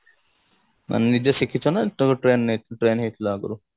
ମାନେ ନିଜେ ଶିଖିଛ ନା ତମେ train ନେ trained ହେଇଥିଲ ଆଗୁରୁ